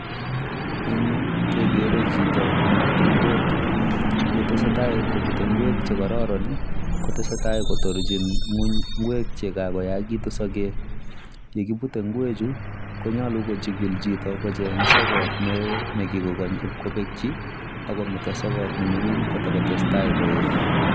Eng yu kekere chito nebute ng'wek. Yetesetai kobute ng'wek chekororon kotesetai kotorchin ng'uny ng'wek chekakoyakitu sogek. yekibute ng'wechu konyolu kohikil chito kocheng sokot neo nekikokony ipkopekchi akometo sokot neming'in kotakotestai koet.